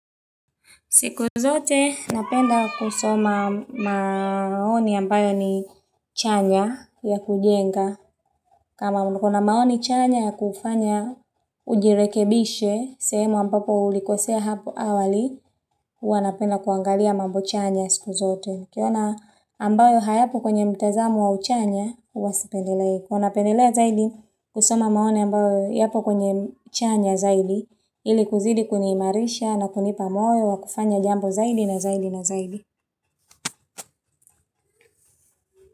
Siku zote, napenda kusoma maoni ambayo ni chanya ya kujenga. Kama ulikuana maoni chanya ya kufanya ujirekebishe, sehemu ambapo ulikosea hapo awali, huwa napenda kuangalia mambo chanya siku zote. Nikiona ambayo hayapo kwenye mtazamo wa uchanya, huwa sipendelei. Hua pendelea zaidi, kusoma maoni ambayo yapo kwenye chanya zaidi, ili kuzidi kuniimarisha na kunipa moyo wa kufanya jambo zaidi na zaidi.